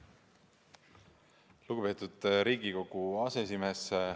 Lugupeetud Riigikogu aseesimees!